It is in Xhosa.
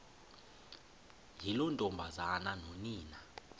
yiloo ntombazana nonina